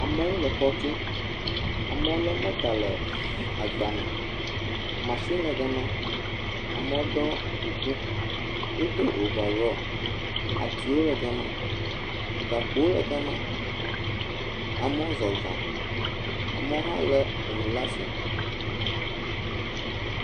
Amewo le xɔ tum. Amewo lé mɔta le agbame. Mashini le gama, amewo ɖɔ kuku, wodo ovarɔɔ, atiwo le gama, gakpowo le gama. Amewo zɔzɔŋ. Amewo hã lé enu laa asi.